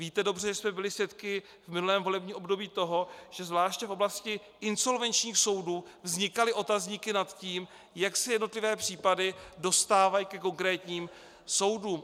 Víte dobře, že jsme byli svědky v minulém volebním období toho, že zvláště v oblasti insolvenčních soudů vznikaly otazníky nad tím, jak se jednotlivé případy dostávají ke konkrétním soudům.